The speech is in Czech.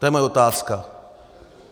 To je moje otázka.